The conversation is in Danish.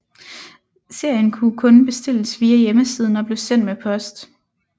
Serien kunne kun bestilles via hjemmesiden og blev sendt med post